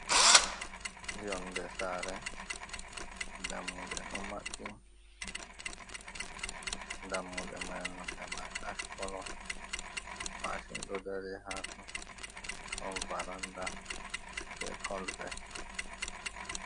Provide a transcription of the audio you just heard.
Yonde saare dammuɗee do maɓɓi, dammuɗe mai nonde mai ash kolo, mashin ɗo dary ha ton ton, varanda be colvet.